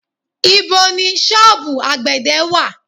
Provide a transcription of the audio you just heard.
Ibo ni sọ́ọ̀bù àgbẹ̀dẹ̀ wà?